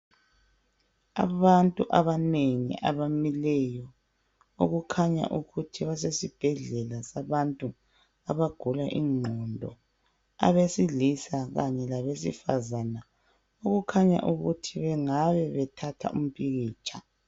Abantu abanengi abamileyo okukhanya ukuthi basesibhedlela sabantu abagula ingqondo abesilisa khanye labesifazana okukhanya ukuthi bengabe bethatha umpikitsha.